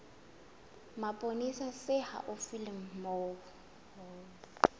mapolesa se haufi le moo